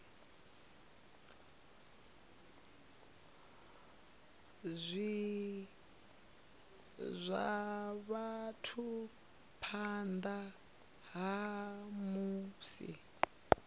zwa vhathu phanḓa ha musi